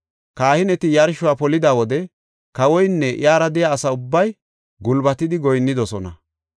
Kahineti yarshuwa polida wode kawoynne iyara de7iya asa ubbay gulbatidi goyinnidosona.